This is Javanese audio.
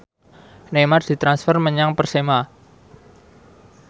Neymar ditransfer menyang Persema